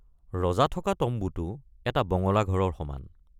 ৰজা থকা তম্বুটো এটা বঙলা ঘৰৰ সমান।